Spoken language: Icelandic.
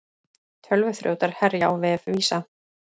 Tölvuþrjótar herja á vef Visa